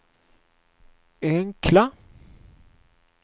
enkla